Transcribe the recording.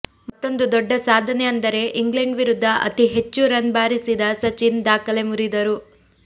ಮತ್ತೊಂದು ದೊಡ್ಡ ಸಾಧನೆ ಅಂದರೆ ಇಂಗ್ಲೆಂಡ್ ವಿರುದ್ಧ ಅತಿ ಹೆಚ್ಚು ರನ್ ಬಾರಿಸಿದ ಸಚಿನ್ ದಾಖಲೆ ಮುರಿದರು